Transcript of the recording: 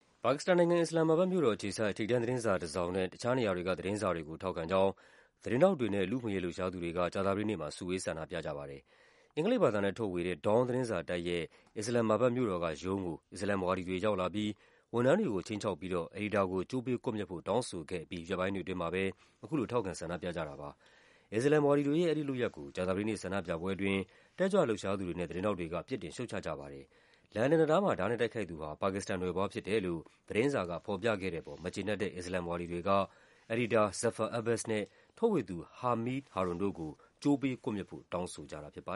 ပါကစ္စတန်နိုင်ငံ၊ အစ္စလာမ်မာဘတ်မြို့တော်အခြေစိုက် ထိပ်တန်းသတင်းစာတစောင်နဲ့ တခြားနေရာတွေက သတင်းစာတွေကို ထောက်ခံကြောင်း သတင်းထောက်တွေနဲ့ လူ့အခွင့်အရေးလှုပ်ရှားသူတွေက ကြာသပတေးနေ့မှာ စုဝေး ဆန္ဒပြကြပါတယ်။ အင်္ဂလိပ်ဘာသာနဲ့ ထုတ်ဝေတဲ့ Dawn သတင်းစာတိုက်ရဲ့ အစ္စလာမ်မာဘတ်မြို့တော်ကရုံးကို အစ္စလာမ်ဝါဒီတွေ ရောက်လာပြီး ဝန်ထမ်းတွေကို ခြိမ်းခြောက်ပြီးတော့ အယ်ဒီတာကို ကြိုးပေးကွပ်မျက်ဖို့ တောင်းဆိုခဲ့အပြီး ရက်ပိုင်းတွေအတွင်းမှာပဲ အခုလို ထောက်ခံဆန္ဒပြကြတာပါ။ အစ္စလာမ်ဝါဒီတွေရဲ့ အဲဒီလုပ်ရပ်ကို ကြာသပတေးနေ့ ဆန္ဒပြပွဲအတွင်း တက်ကြွလှုပ်ရှားသူတွေနဲ့ သတင်းထောက်တွေက ပြစ်တင်ရှုတ်ချကြပါတယ်။ လန်ဒန်တံတားမှာ ဓားနဲ့တိုက်ခိုက်သူဟာ ပါကစ္စတန်နွယ်ဖွားဖြစ်တယ်လို့ သတင်းစာကဖော်ပြခဲ့တဲ့အပေါ် မကျေနပ်တဲ့ အစ္စလာမ် ဝါဒီတွေက အယ်ဒီတာ Zaffar Abbas နဲ့ ထုတ်ဝေသူ Hameed Harron တို့ကို ကြိုးပေးကွပ်မျက်ဖို့ တောင်းဆိုခဲ့ကြတာပါ